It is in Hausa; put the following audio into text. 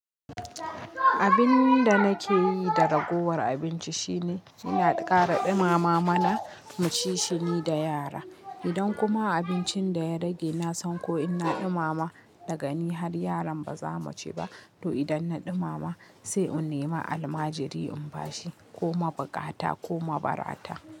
Abin da nake yi da ragowar abinci shine, ina ƙara ɗumama mana mu ci shi ni da yara. Idan kuma abincin da ya rage na san ko in na ɗumama da gani har yaron ba za mu ci ba, to idan na ɗumama sai in nema almajiri in bashi ko mabukata ko mabarata.